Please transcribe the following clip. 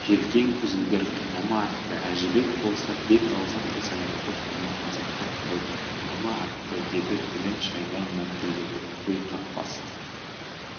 желкең үзілгір қинама атты әжібек болса бет-аузын қисаңдатып оны мазақтап қойды қинама атті деді тілін шайнай мәңкілдеп өй қақпас